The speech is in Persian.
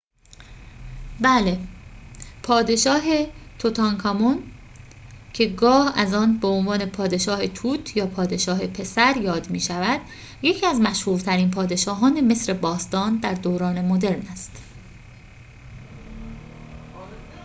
بله پادشاه توتانکامون که گاه از آن به عنوان پادشاه توت یا شاه پسر یاد می شود یکی از مشهورترین پادشاهان مصر باستان در دوران مدرن است